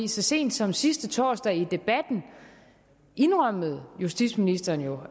så sent som sidste torsdag indrømmede justitsministeren jo